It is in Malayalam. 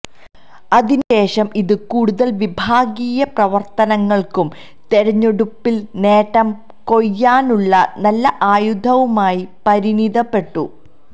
അതിനു ശേഷം ഇത് കൂടുതല് വിഭാഗീയ പ്രവര്ത്തനങ്ങള്ക്കും തെരഞ്ഞെടുപ്പില് നേട്ടം കൊയ്യാനുള്ള നല്ല ആയുധവുമായി പരിണിതപ്പെട്ടു